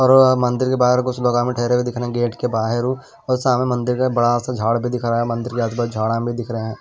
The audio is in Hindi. मंदिर के बाहर कुछ लोगा में ठहरे हुए दिख रहे हैं गेट के बाहैर हूँ और सामने मंदिर का बड़ा सा झाड़ भी दिख रहा है मंदिर के आजु बाजु झाड़ा भी दिख रहे हैं।